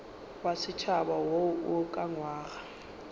wa setšhaba wo o ukangwego